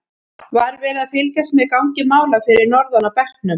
Var verið að fylgjast með gangi mála fyrir norðan á bekknum?